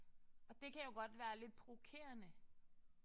Og det kan jo godt være lidt provokerende